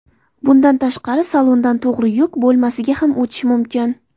Bundan tashqari, salondan to‘g‘ri yuk bo‘lmasiga ham o‘tish mumkin.